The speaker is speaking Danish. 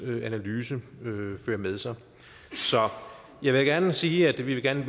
analyse fører med sig så jeg vil gerne sige at vi gerne